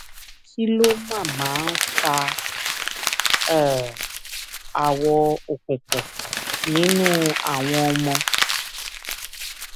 kí ló máa máa ń fa um awọ òkùnkùn nínú àwọn ọmọ